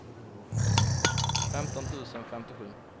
femton tusen femtiosju